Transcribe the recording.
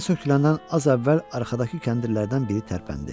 Dan söküləndən az əvvəl arxadakı kəndirlərdən biri tərpəndi.